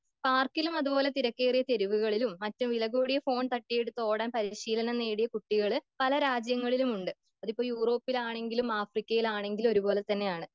പാർക്കിലും അത്പോലെ വളരെ തിരക്കേറിയ തെരുവുകളിലും മറ്റും വില കൂടിയ ഫോണുകൾ തട്ടിയെടുത്ത് ഓടാൻ പരിശീലനം കിട്ടിയ കുട്ടികൾ പല രാജ്യങ്ങളിലും ഉണ്ട്.അതിപ്പോ യൂറോപ്പിലാണെങ്കിലും ആഫ്രിക്കയിലാണെങ്കിലും ഒരു പോലെത്തന്നെയാണ്.